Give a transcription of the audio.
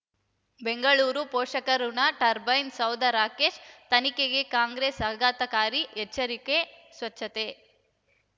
ಬೆಂಗಳೂರು ಪೋಷಕಋಣ ಟರ್ಬೈನು ಸೌಧ ರಾಕೇಶ್ ತನಿಖೆಗೆ ಕಾಂಗ್ರೆಸ್ ಆಘಾತಕಾರಿ ಎಚ್ಚರಿಕೆ ಸ್ವಚ್ಛತೆ